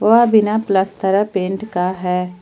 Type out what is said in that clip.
वह बिना plaster paint का है।